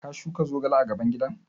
Ka shuka zogale a gaban gidan?